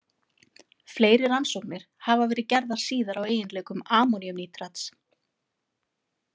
Fleiri rannsóknir hafa verið gerðar síðar á eiginleikum ammoníumnítrats.